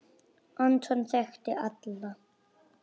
Anton þekkti alla.